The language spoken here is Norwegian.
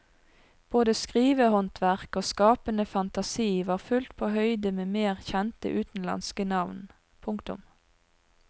Både skrivehåndverk og skapende fantasi var fullt på høyde med mer kjente utenlandske navn. punktum